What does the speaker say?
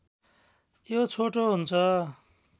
यो छोटो हुन्छ